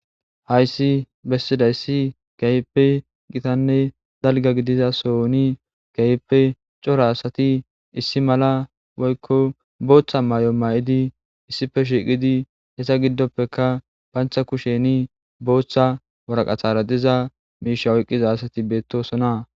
Hayssi besizayssi kehippe gitanne dalga gigida sohoni kehippe coora asati issippe issi mala woykko boththa mayo mayidi issippe shiqidi eta giddoppe ushsha kushen boththa waraqatara diza misha oykidaytti bettosona.